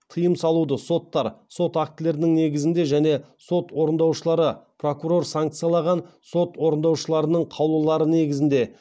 тыйым салуды соттар сот актілерінің негізінде және сот орындаушылары прокурор санкциялаған сот орындаушыларының қаулылары негізінде